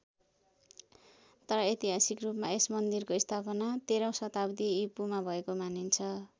तर ऐतिहासिक रूपमा यस मान्दिरको स्थापना तेह्रौँ शताब्दी इपू मा भएको मानिन्छ।